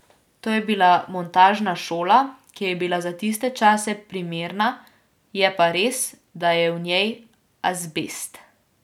To je bila montažna šola, ki je bila za tiste čase primerna, je pa res, da je v njej azbest.